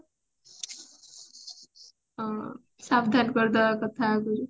ହଁ ସାବଧାନ କରିଦେବା କଥା ଆଗୁରୁ